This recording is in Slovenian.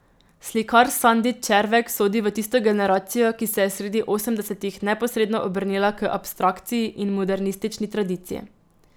Slikar Sandi Červek sodi v tisto generacijo, ki se je sredi osemdesetih neposredno obrnila k abstrakciji in modernistični tradiciji.